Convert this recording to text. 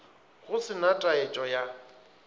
go se na taetšo ya